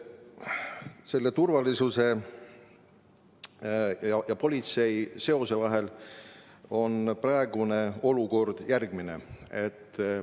Seos turvalisuse ja politsei vahel on praeguses olukorras järgmine.